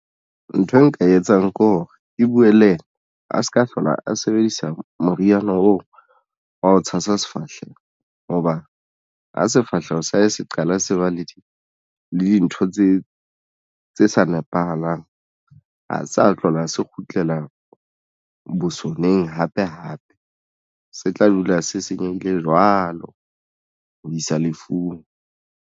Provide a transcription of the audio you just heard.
Nthwe nka e etsang ke hore ke buwe le yena a se ka hlola a sebedisa moriana oo wa ho tshasa sefahleho hoba ho sefahleho sa hae se qala se wa le di le dintho tse sa nepahalang ha sa hlola se kgutlela bosoneng hape hape se tla dula se senyehile jwalo ho isa lefung.